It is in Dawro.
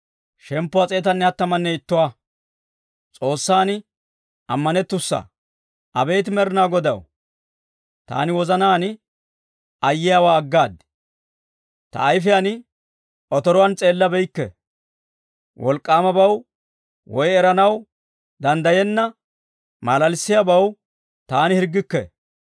Abeet Med'inaa Godaw, taani wozanaan ayyiyaawaa aggaad; ta ayfiyaan otoruwaan s'eelabeykke. Wolk'k'aamabaw woy eranaw danddayenna malalissiyaabaw taani hirggikke.